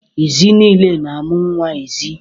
Ezi nile na-amụ nwa ezi.